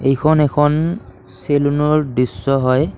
এইখন এখন চেলুনৰ দৃশ্য হয়।